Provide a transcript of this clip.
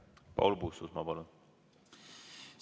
Paul Puustusmaa, palun!